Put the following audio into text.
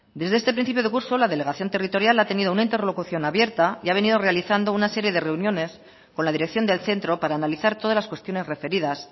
desde este principio de curso la delegación territorial ha tenido una interlocución abierta y ha venido realizando una serie de reuniones con la dirección del centro para analizar todas las cuestiones referidas